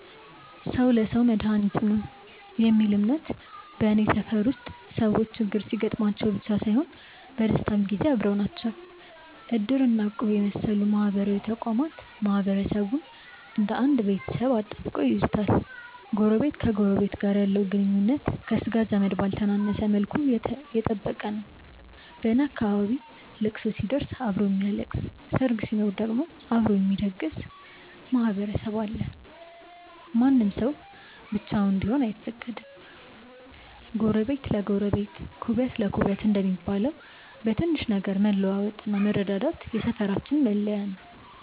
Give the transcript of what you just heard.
"ሰው ለሰው መድኃኒቱ ነው" የሚል እምነት በኔ ሰፈር ውስጥ ሰዎች ችግር ሲገጥማቸው ብቻ ሳይሆን በደስታም ጊዜ አብረው ናቸው። እድር እና እቁብ የመሰሉ ማህበራዊ ተቋማት ማህበረሰቡን እንደ አንድ ቤተሰብ አጣብቀው ይይዙታል። ጎረቤት ከጎረቤቱ ጋር ያለው ግንኙነት ከሥጋ ዘመድ ባልተነሰ መልኩ የጠበቀ ነው። በኔ አካባቢ ለቅሶ ሲደርስ አብሮ የሚያለቅስ፣ ሰርግ ሲኖር ደግሞ ደግሶ የሚያስደግስ ማህበረሰብ አለ። ማንም ሰው ብቻውን እንዲሆን አይፈቀድም። "ጎረቤት ለጎረቤት ኩበት ለኩበት" እንደሚባለው፣ በትንሽ ነገር መለዋወጥና መረዳዳት የሰፈራችን መለያ ነው።